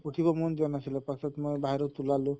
উঠিব মন যোৱা নাছিলে পাছত মই বাহিৰত ওলালো